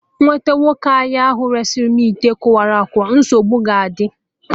M nwete nwoke ahịa ahụ resị mụ ite kụwalu akụwa, nsogbu ga adị o